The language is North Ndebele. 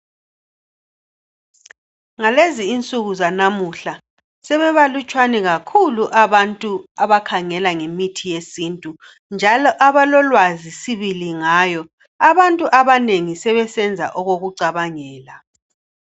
Ngalezi insuku zanamuhla sebebalutshwane kakhulu abantu abakhangela ngemithi yesintu njalo abalolwazi sibili ngayo. Abantu abanengi sebesenza okokucabangela.